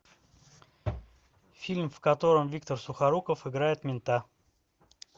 фильм в котором виктор сухоруков играет мента